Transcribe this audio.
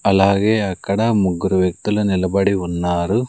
అలాగే అక్కడ ముగ్గురు వ్యక్తులు నిలబడి ఉన్నారు.